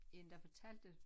En der fortalte